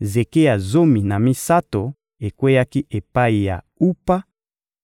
zeke ya zomi na misato ekweyaki epai ya Upa;